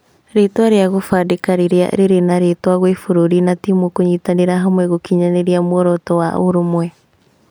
Rĩtwa rĩa gũbandĩka rĩrĩa rĩ rĩnarĩtana gwĩ bũrũri na timũ kunyitanĩra hamwe gũkinyĩria mworoto wa ũũrũmwe